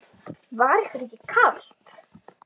Var ykkur ekki kalt?